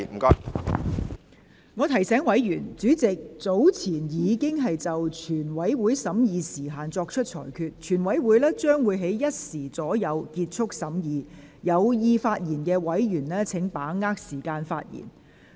我提醒委員，主席早前已經就全體委員會審議時限作出裁決，全體委員會將於下午1時左右結束審議，請有意發言的委員把握時間發言。